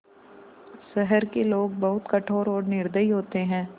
शहर के लोग बहुत कठोर और निर्दयी होते हैं